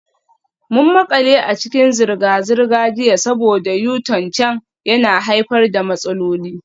Mun makale a cikin zirga-zirga jiya saboda U-turn can yana haifar da matsaloli.